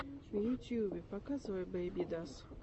в ютюбе показывай бэйбидас